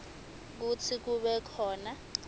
kutsi kube khona